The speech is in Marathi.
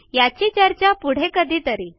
याची चर्चा पुढे कधीतरी